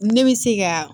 Ne bɛ se ka